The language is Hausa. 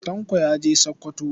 Tanko ya je Sakkwato.